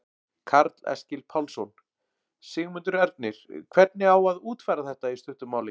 Karl Eskil Pálsson: Sigmundur Ernir, hvernig á að útfæra þetta í stuttu máli?